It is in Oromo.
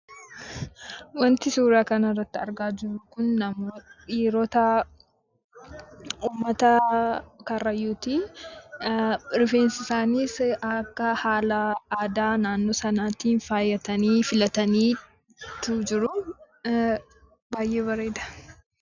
Suuraa kanaa gadii irratti kan argamu kun dhiirota Oromoo Kaarrayyuuti. Isaanis akkaataa aadaa uffannaa naannoo sanaatti uffatanii rifeensa isaaniis filatanii kan jiranii dha.